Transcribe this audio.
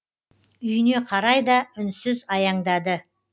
үйіне қарай да үнсіз аяңдады